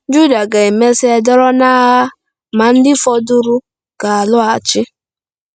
Juda ga-emesịa dọrọ n’agha, ma “ndị fọdụrụ ga-alọghachi.”